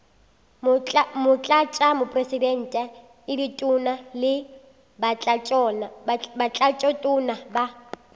motlatšamopresidente ditona le batlatšatona ba